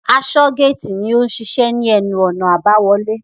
Asọ́-géètì ni ó n ṣiṣẹ́ ní ẹnu-ọ̀nà àbáwọlé.